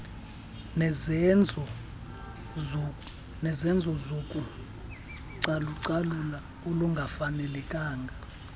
nezenzo zocalucalulo olungafanelekanga